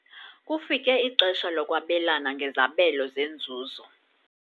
Kufike ixesha lokwabelana ngezabelo zenzuzo.